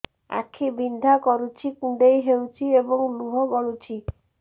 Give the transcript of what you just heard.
ଆଖି ବିନ୍ଧା କରୁଛି କୁଣ୍ଡେଇ ହେଉଛି ଏବଂ ଲୁହ ଗଳୁଛି